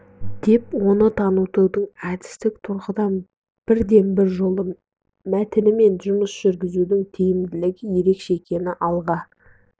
деп оны танытудың әдістік тұрғыдан бірден бір жолы мәтінмен жұмыс жүргізудің тиімділігі ерекше екенін алға